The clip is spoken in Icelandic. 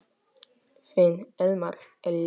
Þinn Elmar Elí.